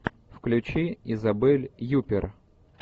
включи изабель юппер